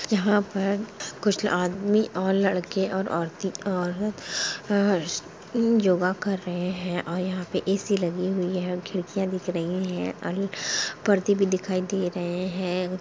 यहाँ पर कुछ आदमी और लड़के और औरते योगा कर रहे हैं और यहाँ पे ऐसी लगी हुई है खिड़कियाँ दीख रही हैं और परदे भी दिखाई दे रहे हैं।